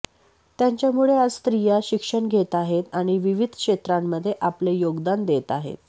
त्यांच्यामुळे आज स्त्रीया शिक्षण घेत आहेत आणि विविध क्षेत्रामध्ये आपले याेगदान देत आहेत